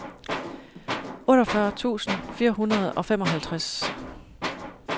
otteogfyrre tusind fire hundrede og femoghalvtreds